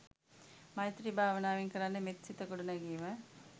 මෛත්‍රී භාවනාවෙන් කරන්නේ, මෙත් සිත ගොඩ නැගීම